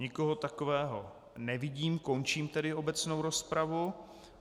Nikoho takového nevidím, končím tedy obecnou rozpravu.